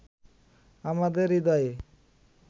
আমাদের হৃদয়ে